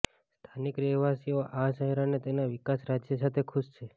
સ્થાનિક રહેવાસીઓ આ શહેર અને તેના વિકાસ રાજ્ય સાથે ખુશ છે